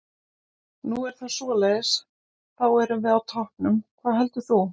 Nú það er svoleiðis, þá erum við á toppnum, hvað heldur þú?